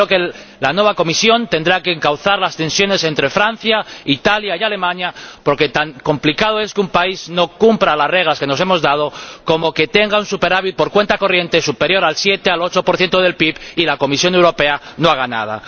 Y creo que la nueva Comisión tendrá que encauzar las tensiones entre Francia, Italia y Alemania, porque tan complicado es que un país no cumpla las reglas que nos hemos dado como que tenga un superávit por cuenta corriente superior al 7 o al 8 del PIB y la Comisión Europea no haga nada.